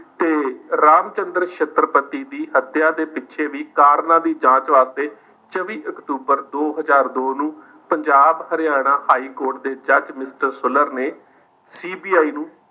ਤੇ ਰਾਮਚੰਦ੍ਰ ਛੱਤਰਪਤੀ ਦੀ ਹੱਤਿਆ ਦੇ ਪਿੱਛੇ ਵੀ ਕਾਰਨਾਂ ਦੀ ਜਾਂਚ ਵਾਸਤੇ ਛੱਬੀ ਅਕਤੂਬਰ ਦੋ ਹਜ਼ਾਰ ਦੋ ਨੂੰ ਪੰਜਾਬ ਹਰਿਆਣਾ high court ਦੇ judge ਮਿੱਤਲ ਸੁਲਰ ਨੇ CBI ਨੂੰ